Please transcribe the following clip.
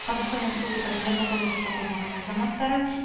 қазақстан республикасының жиырма тоғыз жасқа толмаған азаматтары